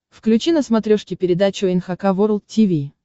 включи на смотрешке передачу эн эйч кей волд ти ви